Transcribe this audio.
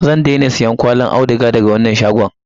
Zan daina siyan kwallin auduga daga wannan shagon.